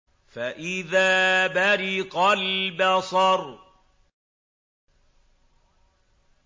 فَإِذَا بَرِقَ الْبَصَرُ